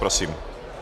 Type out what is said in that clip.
Prosím.